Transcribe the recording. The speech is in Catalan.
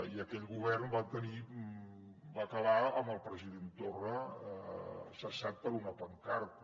i aquell govern va acabar amb el president torra cessat per una pancarta